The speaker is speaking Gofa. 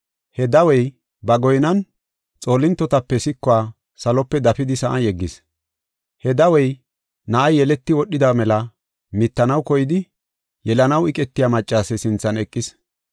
He dawey ba goynan xoolintotape sikuwa salope dafidi sa7an yeggis. He dawey na7ay yeleti wodhida mela mittanaw koyidi, yelanaw eqetiya maccase sinthan eqis.